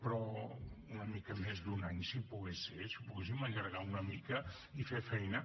però una mica més d’un any si pogués ser si ho poguéssim allargar una mica i fer feina